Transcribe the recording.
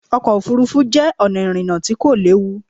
Ọkọ̀ òfuurufú jẹ́ ọ̀nà ìrìnà tí kò léwu.